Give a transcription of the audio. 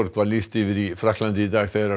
var lýst yfir í Frakklandi í dag þegar